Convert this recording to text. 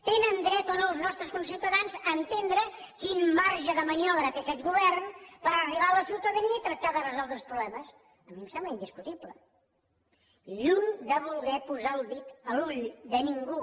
tenen dret o no els nostres conciutadans a entendre quin marge de maniobra té aquest govern per arribar a la ciutadania i tractar de resoldre els problemes a mi em sembla indiscutible lluny de voler posar el dit a l’ull de ningú